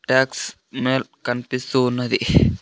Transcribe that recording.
Talks మేల్ కనిపిస్తూ ఉన్నది .